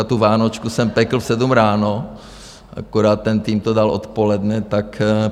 A tu vánočku jsem pekl v 7 ráno, akorát ten tým to dal odpoledne.